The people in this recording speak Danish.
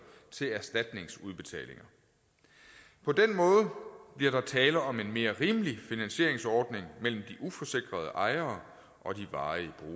til erstatningsudbetalinger på den måde bliver der tale om en mere rimelig finansieringsordning mellem de uforsikrede ejere og de varige